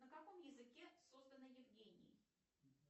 на каком языке создана евгений